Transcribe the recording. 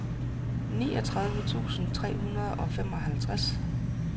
niogtredive tusind tre hundrede og femoghalvtreds